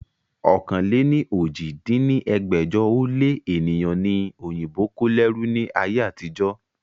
ọ̀kan-lé-ní-ojì dín ní ẹgbẹ́jọ ó lé ènìyàn ni òyìnbó kó lẹ́rú ni ayé àtijọ́